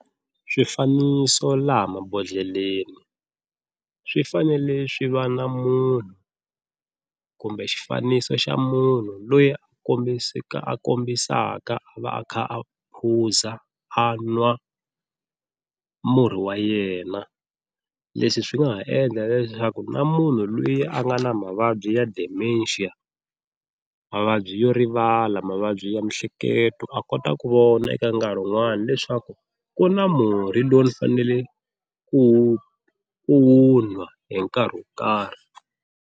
Swifaniso laha mabodhleleni swi fanele swi va na munhu kumbe xifaniso xa munhu loyi a a kombisaka a va a kha a phuza a nwa murhi wa yena, leswi swi nga ha endla leswaku na munhu loyi a nga na mavabyi ya dementia mavabyi yo rivala mavabyi byi ya miehleketo a kota ku vona eka nkarhi wun'wani leswaku ku na murhi lowu ndzi fanele ku wu ku wu nwa hi nkarhi wo karhi.